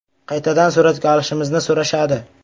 Qaytadan suratga olishimizni so‘rashadi.